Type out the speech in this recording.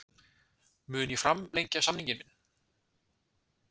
Mun ég framlengja samning minn?